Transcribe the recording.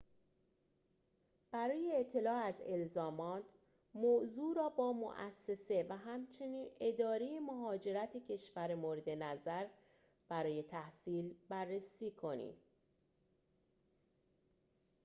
برای اطلاع از الزامات موضوع را با موسسه و همچنین اداره مهاجرت کشور مورد نظر برای تحصیل بررسی کنید